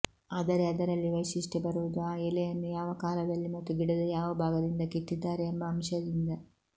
ಆದರೆ ಅದರಲ್ಲಿ ವೈಶಿಷ್ಟ್ಯ ಬರುವುದು ಆ ಎಲೆಯನ್ನು ಯಾವ ಕಾಲದಲ್ಲಿ ಮತ್ತು ಗಿಡದ ಯಾವ ಭಾಗದಿಂದ ಕಿತ್ತಿದ್ದಾರೆ ಎಂಬ ಅಂಶದಿಂದ